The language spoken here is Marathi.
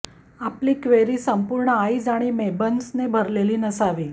आपली क्वेरी संपूर्ण आय्ीज आणि मेन्बन्सने भरलेली नसावी